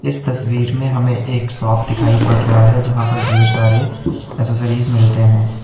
इस तस्वीर में हमें एक शॉप दिखाई पड़ रहा है जहां पर ढेर सारे एसेसरीज मिलते है।